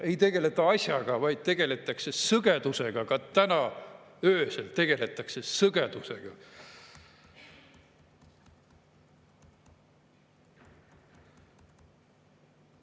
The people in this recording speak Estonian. Ei tegeleta asjaga, vaid tegeletakse sõgedusega, ka täna öösel tegeletakse sõgedusega.